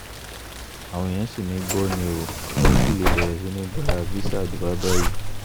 àwọn èèyàn sì mí gbọ́ ni o ẹ ò tí ì lè bẹ̀rẹ̀ sí í gba visà dubai báyìí